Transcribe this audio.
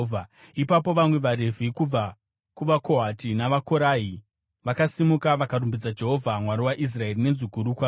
Ipapo vamwe vaRevhi kubva kuvaKohati navaKorahi vakasimuka vakarumbidza Jehovha, Mwari waIsraeri nenzwi guru kwazvo.